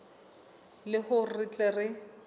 le hore re tle re